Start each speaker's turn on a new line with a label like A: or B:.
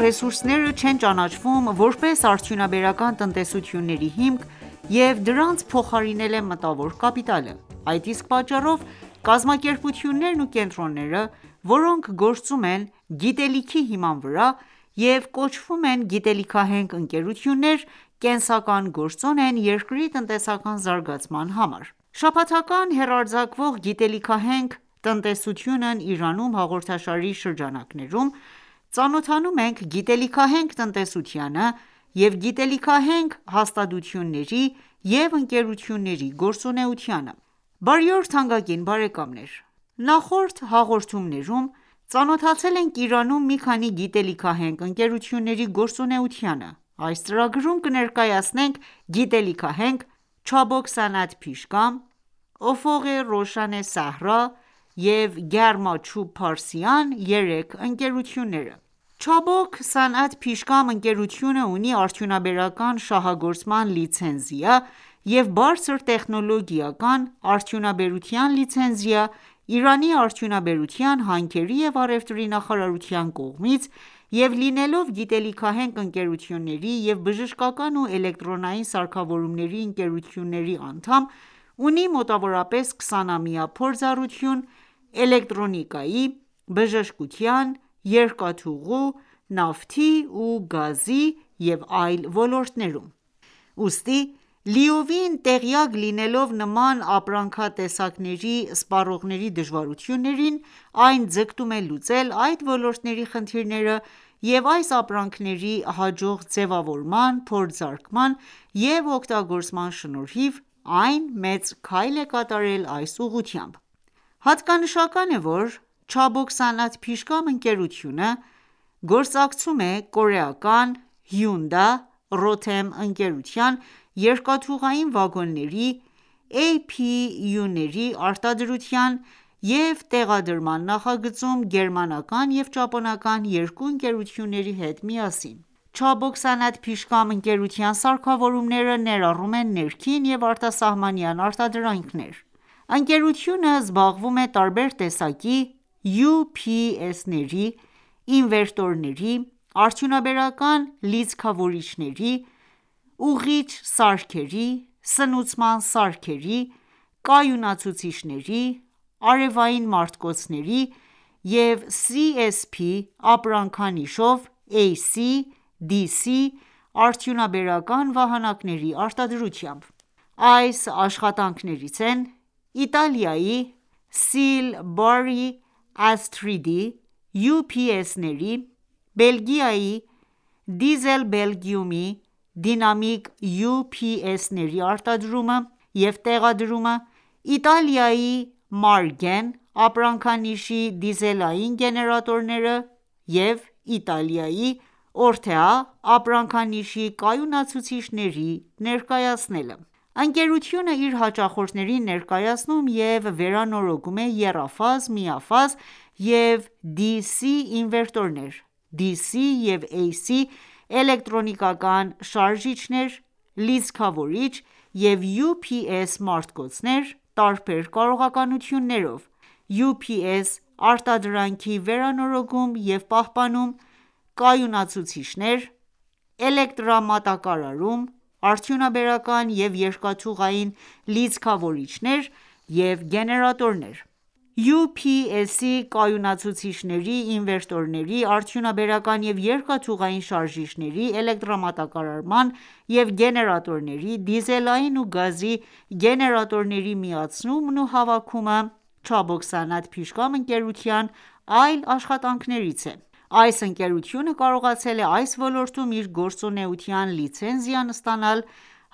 A: «ռեսուրսները» չեն ճանաչվում ,որպես արդյունաբերական տնտեսությունների հիմք, և դրանց փոխարինել է մտավոր կապիտալը։ Այդ իսկ պատճառով, կազմակերպություններն ու կենտրոնները, որոնք գործում են «գիտելիքի» հիման վրա և կոչվում են գիտելիքահենք ընկերություններ, կենսական գործոն են երկրի տնտեսական զարգացման համար։ Շաբաթական հեռարձակվող «Գիտելիքահենք տնտեսությունն Իրանում» հաղորդաշարի շրջանակներում, ծանոթանում ենք գիտելիքահենք տնտեսությանը և գիտելիքահենք հաստատությունների և ընկերությունների գործունեությանը։ Բարի օր թանկագին բարեկամներ: Նախորդ հաղորդումներում ծանոթացել ենք Իրանում մի քանի գիտելիքահենք ընկերությունների գործունեությանը։ Այս ծրագրում կներկայացնենք գիտելիքահենք «Չաբոք Սանաթ Փիշգամ», «Օֆող Ռոշան Սահրա» և «Գարմա Չուբ Փարսյան» երեք ընկերությունները։ «Չաբոք Սանաթ Փիշգամ» ընկերությունը, ունի արդյունաբերական շահագործման լիցենզիա և բարձր տեխնոլոգիական արդյունաբերության լիցենզիա՝ Իրանի արդյունաբերության, հանքերի և առևտրի նախարարության կողմից, և լինելով գիտելիքահենք ընկերությունների և բժշկական ու էլեկտրոնային սարքավորումների ընկերությունների անդամ՝ ունի մոտավորապես 20 ամյա փորձառություն էլեկտրոնիկայի, բժշկության, երկաթուղու, նավթի ու գազի և այլ ոլորտներում:Ուստի, լիովին տեղյակ լինելով նման ապրանքատեսակների սպառողների դժվարություններին, այն ձգտում է լուծել այդ ոլորտների խնդիրները և այս ապրանքների հաջող ձևավորման, փորձարկման և օգտագործման շնորհիվ, այն մեծ քայլ է կատարել այս ուղղությամբ:Հատկանշական է ,որ «Չաբոք Սանաթ Փիշգամ» ընկերությունը գործակցում է կորեական Հյունդա ընկերության երկաթուղային վագոնների APU-ների արտադրության և տեղադրման նախագծում գերմանական և ճապոնական երկու ընկերությունների հետ միասին: «Չաբոք Սանաթ Փիշգամ» ընկերության սարքավորումները ներառում են ներքին և արտասահմանյան արտադրանքներ:Ընկերությունը զբաղվում է տարբեր տեսակի UPS-ների, ինվերտորների, արդյունաբերական լիցքավորիչների, ուղղիչ սարքերի, սնուցման սարքերի, կայունացուցիչների, արևային մարտկոցների և CSP ապրանքանիշով AC, DC արդյունաբերական վահանակների արտադրությամբ։ Այս աշխատանքներից են՝ Իտալիայի SIEL-BORRY-ASTRID-ի UPS-ների, Բելգիայի Diesel Belgium-ի դինամիկ UPS-ների տրամադրումը, Իտալիայի Margen ապրանքանիշի դիզելային գեներատորները և Իտալիայի ORTEA ապրանքանիշի կայունացուցիչների ներկայացնելը:Ընկերությունը իր հաճախորդներին ներկայացնում և վերանորոգում է եռաֆազ, միաֆազ և DC ինվերտորներ, Dc և Ac էլեկտրական շարժիչներ ,լիցքավորիչ և Ups մարտկոցներ տարբեր կարողականություններով, UPS արտադրանքի վերանորոգում և պահպանում, կայունացուցիչներ, էլեկտրամատակարարում ,արդյունաբերական և երկաթուղային լիցքավորիչներ և գեներատորներ:UPS-ի, կայունացուցիչների, ինվերտորների, արդյունաբերական և երկաթուղային շարժիչների, էլեկտրամատակարարման և գեներատորների, դիզելային ու գազի գեներատորների միացումն ու հավաքումը «Չաբոք Սանաթ Փիշգամ»ընկերության այլ աշխատանքներից է:Այս ընկերությունը կարողացել է այս ոլորտում իր գործունեության լիցենզիան ստանալ